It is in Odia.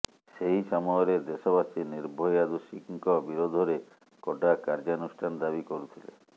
ସେହି ସମୟରେ ଦେଶବାସୀ ନିର୍ଭୟା ଦୋଷୀଙ୍କ ବିରୋଧରେ କଡା କାର୍ଯ୍ୟାନୁଷ୍ଠାନ ଦାବି କରୁଥିଲେ